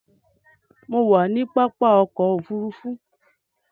Mo wà ní pápá ọkò òfurufú.